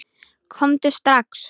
Komdu strax!